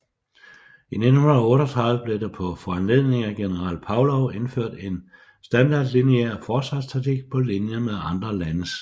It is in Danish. I 1938 blev der på foranledning af general Pavlov indført en standardlineær forsvarstaktik på linje med andre landes